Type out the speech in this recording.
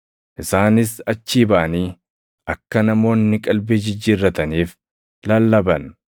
Isaanis achii baʼanii akka namoonni qalbii jijjiirrataniif lallaban.